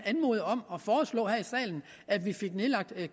anmode om og foreslå her i salen at vi fik nedlagt